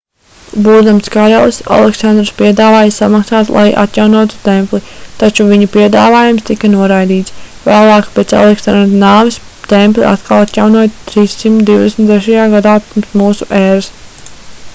būdams karalis aleksandrs piedāvāja samaksāt lai atjaunotu templi taču viņa piedāvājums tika noraidīts vēlāk pēc aleksandra nāves templi atkal atjaunoja 323. gadā p.m.ē